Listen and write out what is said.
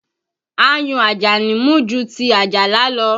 Ayùn Ajani mú ju ti Ajala lọ